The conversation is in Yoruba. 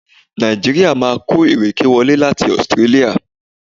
Nàìjíríà máa kó ìrèké wọlé láti Australia.